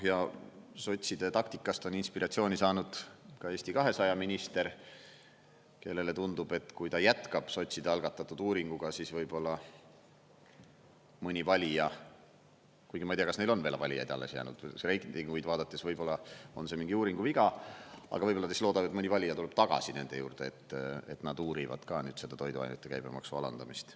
Ja sotside taktikast on inspiratsiooni saanud ka Eesti 200 minister, kellele tundub, et kui ta jätkab sotside algatatud uuringuga, siis võib-olla mõni valija – kuigi ma ei tea, kas neil on valijaid alles jäänud, reitinguid vaadates võib-olla on see mingi uuringu viga – aga võib-olla ta siis loodab, et mõni valija tuleb tagasi nende juurde, et nad uurivad ka nüüd toiduainete käibemaksu alandamist.